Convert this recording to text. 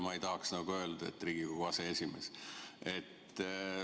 Ma ei tahaks praegu nagu öelda, et Riigikogu aseesimees.